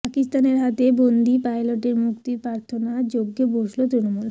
পাকিস্তানের হাতে বন্দি পাইলটের মুক্তির প্রার্থনায় যজ্ঞে বসল তৃণমূল